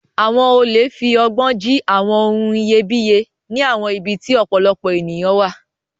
Àwọn olè fi ọgbọ́n jí àwọn ohun iyebíye ní àwọn ibi tí ọ̀pọ̀lọpọ̀ ènìyàn wà.